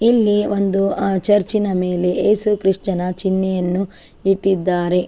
ಇಲ್ಲಿ ಒಂದು ಆ ಚರ್ಚ್ ನ ಮೇಲೆ ಯೇಸು ಕ್ರಿಸ್ತನ ಚಿಹ್ನೆಯನ್ನು ಇಟ್ಟಿದ್ದಾರೆ.